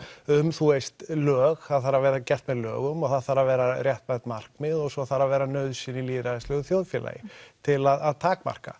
um þú veist lög það þarf að vera gert með lögum og það þarf að vera réttmætt markmið og svo þarf að vera nauðsyn í lýðræðislegu þjóðfélagi til að takmarka